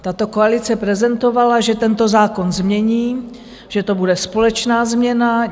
Tato koalice prezentovala, že tento zákon změní, že to bude společná změna.